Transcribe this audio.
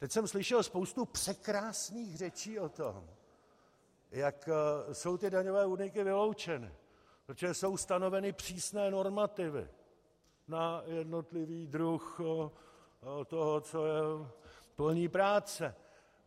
Teď jsem slyšel spoustu překrásných řečí o tom, jak jsou ty daňové úniky vyloučeny, protože jsou stanoveny přísné normativy na jednotlivý druh toho, co je polní práce.